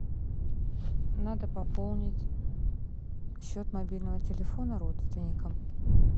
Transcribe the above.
надо пополнить счет мобильного телефона родственника